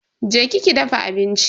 Je ki ki dafa abinci.